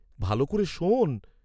ভাল করে শোন্।